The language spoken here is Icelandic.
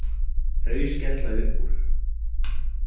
Þau skella upp úr.